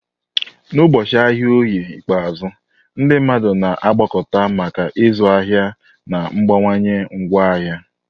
N'ụbọchị ahịa Oye ikpeazụ, ndị mmadụ na-agbakọta maka ịzụ ahịa na mgbanwe ngwaahịa.